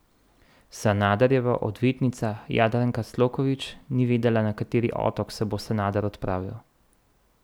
Sanaderjeva odvetnica Jadranka Sloković ni vedela, na kateri otok se bo Sanader odpravil.